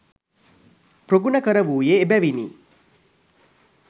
ප්‍රගුණ කරවූයේ එබැවිනි.